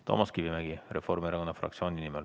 Toomas Kivimägi, Reformierakonna fraktsiooni nimel.